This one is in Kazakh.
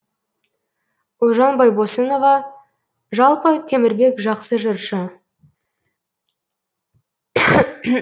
ұлжан байбосынова жалпы темірбек жақсы жыршы